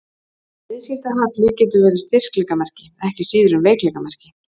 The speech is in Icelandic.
Viðskiptahalli getur verið styrkleikamerki ekki síður en veikleikamerki.